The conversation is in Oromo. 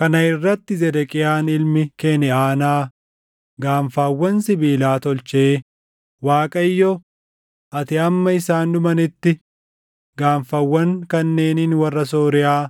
Kana irratti Zedeqiyaan ilmi Keniʼaanaa gaanfawwan sibiilaa tolchee, “ Waaqayyo, ‘Ati hamma isaan dhumanitti gaanfawwan kanneeniin warra Sooriyaa